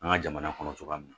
An ka jamana kɔnɔ cogoya min na